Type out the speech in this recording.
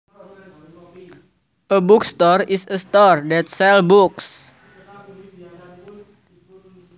A bookstore is a store that sells books